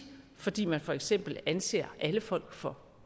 fordi man for eksempel anser alle folk for